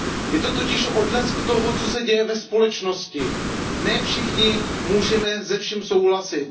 Je to totiž odlesk toho, co se děje ve společnosti. Ne všichni můžeme se vším souhlasit.